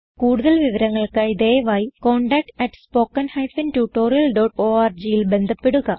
കുടുതൽ വിവരങ്ങൾക്കായി ദയവായി contactspoken tutorialorgൽ ബന്ധപ്പെടുക